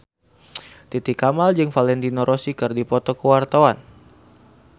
Titi Kamal jeung Valentino Rossi keur dipoto ku wartawan